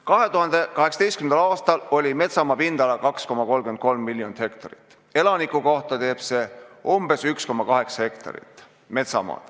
2018. aastal oli metsamaa pindala 2,33 miljonit hektarit, elaniku kohta teeb see umbes 1,8 hektarit.